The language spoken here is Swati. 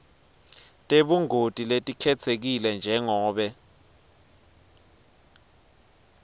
tebungoti letikhetsekile njengobe